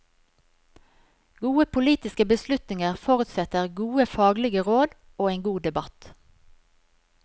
Gode politiske beslutninger forutsetter gode faglige råd og en god debatt.